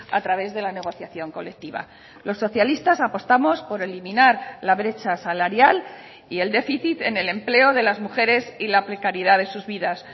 a través de la negociación colectiva los socialistas apostamos por eliminar la brecha salarial y el déficit en el empleo de las mujeres y la precariedad de sus vidas